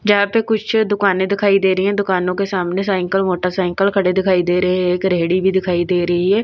जहां पे कुछ दुकानें दिखाई दे रही हैं दुकानों के सामने साइकल मोटरसाइकिल खड़े दिखाई दे रहे हैं एक रेहड़ी भी दिखाई दे रही है।